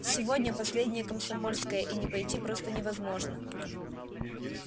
сегодня последнее комсомольское и не пойти просто невозможно